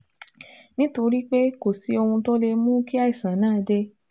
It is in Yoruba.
nítorí pé kò sí ohun tó lè mú kí àìsàn náà dé